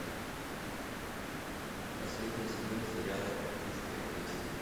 последний сезон сериала эльфийская песнь